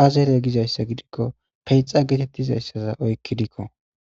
aazere gizayssa gidikko peyxa geetettizayssaza oykkidikko